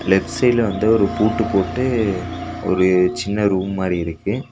Left சைட்ல வந்து ஒரு பூட்டு போட்டு ஒரு சின்ன ரூம் மாரி இருக்கு.